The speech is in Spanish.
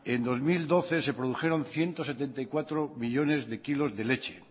en dos mil doce se produjeron ciento setenta y cuatro millónes de kilos de leche